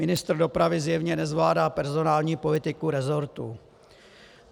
Ministr dopravy zjevně nezvládá personální politiku resortu.